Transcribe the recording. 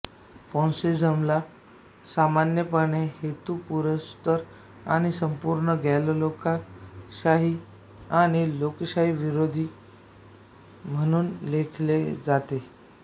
फॅसिझमला सामान्यपणे हेतुपुरस्सर आणि संपूर्ण गैरलोकशाही आणि लोकशाहीविरोधी म्हणून लेखले जाते